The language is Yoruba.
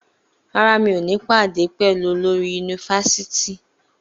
Rárá, mi ò ní pàdé pẹ̀lú olórí yunifasiti.